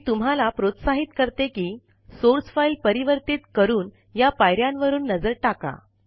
मी तुम्हाला प्रोत्साहित करते कि सोर्स फाईल परिवर्तीत करून या पायऱ्यांन वरून नजर टाका